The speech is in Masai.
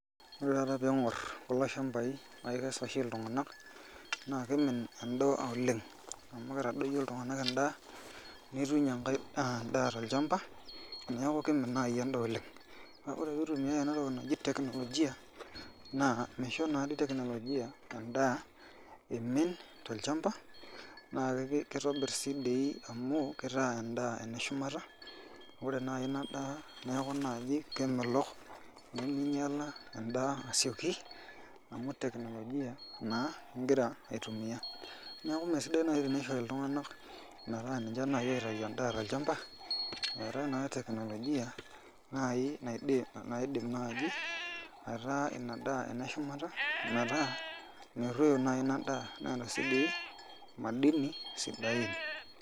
Ore taata ping'or kulo shambai na kekes oshi iltung'anak, naa kimin endaa oleng. Amu kitadoyio iltung'anak endaa, nituny enkae daa tolchamba, neeku kimin nai endaa oleng. Ore pitumiai enatoki naji teknolojia, naa misho nadi teknolojia endaa imin tolchamba, naa kitobir si di amu, kitaa endaa eneshumata, ore nai inadaa neeku naji kemelok, niminyala endaa asioki, amu teknolojia naa igira aitumia. Neeku mesidai nai tenishori iltung'anak metaa ninche nai oitayu endaa tolchamba, eetae naa teknolojia nai naidim naji aitaa inadaa ene shumata, metaa merruoyo nai inadaa. Neeta si doi madini sidain.